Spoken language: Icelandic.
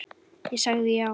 Ég sagði já.